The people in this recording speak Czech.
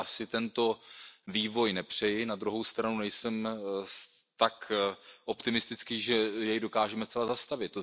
Já si tento vývoj nepřeji, na druhou stranu nejsem tak optimistický, že jej dokážeme zcela zastavit.